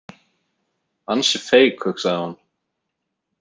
Ansi feik, hugsaði hún.